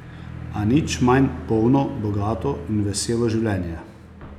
A nič manj polno, bogato in veselo življenje.